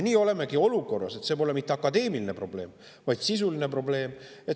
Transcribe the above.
Nii olemegi olukorras, kus see pole mitte akadeemiline probleem, vaid sisuline probleem.